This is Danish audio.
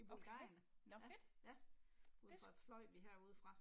Okay, nåh fedt, det